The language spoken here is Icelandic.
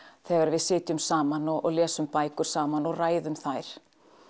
þegar við sitjum saman og lesum bækur saman og ræðum þær